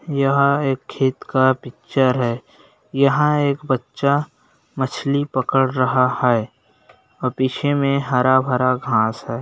यहाँ एक खेत का पिक्चर है| यहाँ एक बच्चा मछली पकड़ रहा है और पीछे में हरा-भरा घास है।